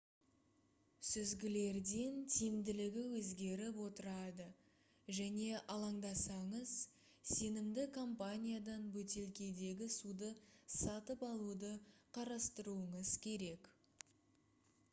сүзгілердің тиімділігі өзгеріп отырады және алаңдасаңыз сенімді компаниядан бөтелкедегі суды сатып алуды қарастыруыңыз керек